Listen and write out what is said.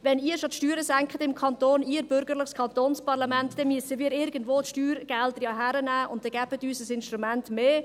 «Wenn ihr schon die Steuern senkt im Kanton, ihr bürgerliches Kantonsparlament, dann müssen wir ja die Steuergelder irgendwo hernehmen, dann gebt uns ein Instrument mehr.»